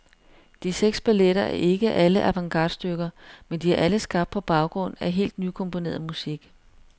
De seks balletter er ikke alle avantgardestykker, men de er alle skabt på baggrund af helt nykomponeret musik.